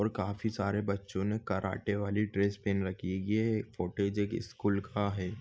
और काफी सारे बच्चो ने कराटेवाली ड्रेस पेहन रखी है ये एक फुटेज एक स्कुल का हैं।